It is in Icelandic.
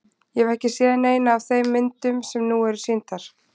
Ég hef ekki séð neina af þeim myndum sem nú eru sýndar.